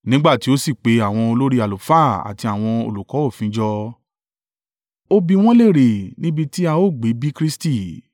Nígbà tí ó sì pe àwọn olórí àlùfáà àti àwọn olùkọ́ òfin jọ, ó bi wọ́n léèrè níbi ti a ó gbé bí Kristi?